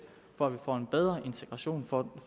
for at vi får en bedre integration får